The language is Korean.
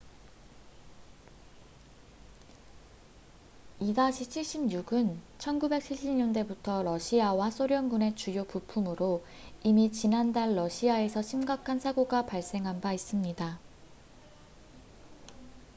il-76은 1970년대부터 러시아와 소련군의 주요 부품으로 이미 지난달 러시아에서 심각한 사고가 발생한 바 있습니다